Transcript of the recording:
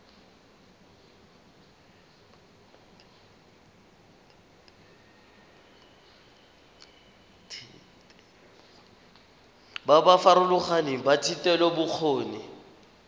ba ba farologaneng ba thetelelobokgoni